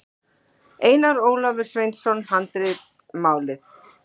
Einar Ólafur Sveinsson, Handritamálið.